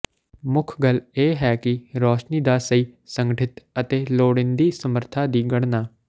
ਮੁੱਖ ਗੱਲ ਇਹ ਹੈ ਕਿ ਰੌਸ਼ਨੀ ਦਾ ਸਹੀ ਸੰਗਠਿਤ ਅਤੇ ਲੋੜੀਂਦੀ ਸਮਰੱਥਾ ਦੀ ਗਣਨਾ